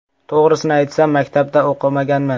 To‘g‘risini aytsam, maktabda o‘qimaganman.